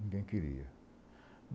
Ninguém queria.